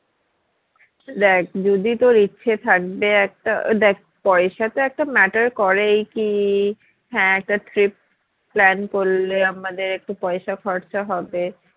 দ্যাখ যদি তোর ইচ্ছে থাকবে একটা দ্যাখ পয়সা টা একটা matter করে এই কি হ্যাঁ একটা trip plan করলে আমাদের একটু পয়সা খরচা হবে